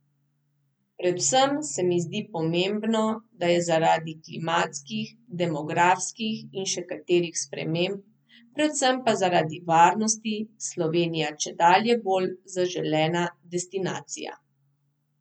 Predvsem se mi zdi pomembno, da je zaradi klimatskih, demografskih in še katerih sprememb, predvsem pa zaradi varnosti, Slovenija čedalje bolj zaželena destinacija.